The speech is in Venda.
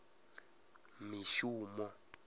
mishumo